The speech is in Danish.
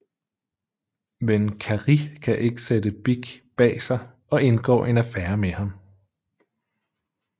Men Carrie kan ikke sætte Big bag sig og indgår en affære med ham